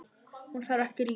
Hún þarf ekki rýting.